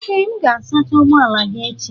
Ee m ga-asacha ụgbọ ala gị echi.